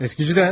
Eskicidən.